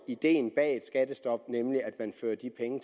ideen bag et skattestop nemlig at man fører de penge